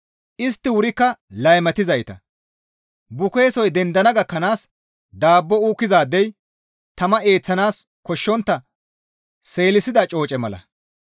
Istti wurikka laymatizayta, bukeesoy dendana gakkanaas daabbo uukkizaadey tama eeththanaas koshshontta seelisida cooce mala.